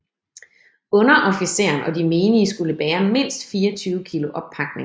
Underofficeren og de menige skulle bære mindst 24 kg oppakning